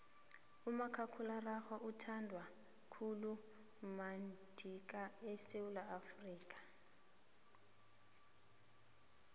umakhakhulararhwe uthandwa khulu madika esewula afrika